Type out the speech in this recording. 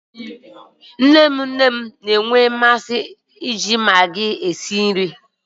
Nne nne m na-enwe mmasị iji magii esi nri.